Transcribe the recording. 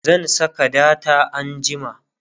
zan Saka data anjima